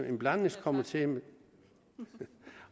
en blandet komité